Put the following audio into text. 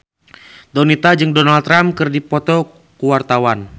Donita jeung Donald Trump keur dipoto ku wartawan